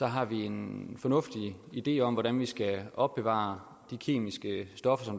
har vi en fornuftig idé om hvordan vi skal opbevare de kemiske stoffer